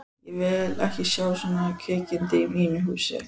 Ég vil ekki sjá svona kvikindi í mínum húsum!